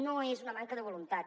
no és una manca de voluntat